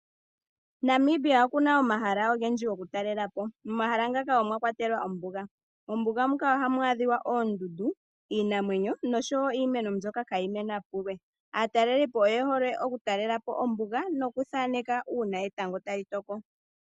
Namibia okuna omahala oge ndji go ku talela po omahala ngaka omwakwatelwa ombuga , mombuga mu ka oha mu adhika oondundu, iinamwenyo nosho wo iimeno mbyoka ka yi mena pulwe, aatalelipo oye hole oku talelapo oombuga nokuthaneka uuna etango tali toko.